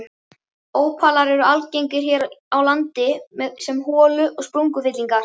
Ópalar eru algengir hér á landi sem holu- og sprungufyllingar.